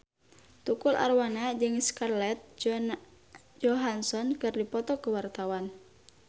Tukul Arwana jeung Scarlett Johansson keur dipoto ku wartawan